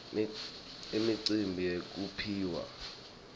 imicimbi yekuphiwa imiklomelo